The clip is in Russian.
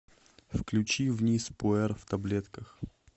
включи вниз пуэр в таблетках